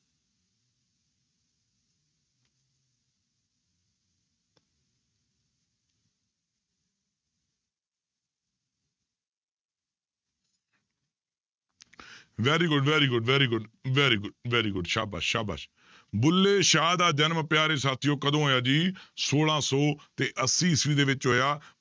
Very good, very good, very good, very good, very good ਸਾਬਾਸ਼ ਸਾਬਾਸ਼ ਬੁੱਲੇ ਸ਼ਾਹ ਦਾ ਜਨਮ ਪਿਆਰੇ ਸਾਥੀਓ ਕਦੋਂ ਹੋਇਆ ਜੀ ਛੋਲਾਂ ਸੌ ਤੇ ਅੱਸੀ ਈਸਵੀ ਦੇ ਵਿੱਚ ਹੋਇਆ।